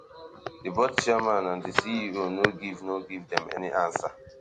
di board chairman and di ceo no give no give dem any answer